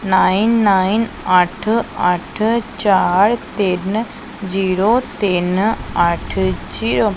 Nine nine ਅੱਠ ਅੱਠ ਚਾਰ ਤਿੰਨ ਜੀਰੋ ਤਿੰਨ ਅੱਠ ਜੀਰੋ ।